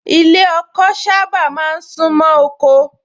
Ilé ọkọ sábà máa ń sún mọ́ oko